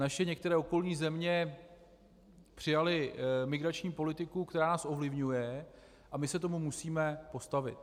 Naše některé okolní země přijaly migrační politiku, která nás ovlivňuje, a my se tomu musíme postavit.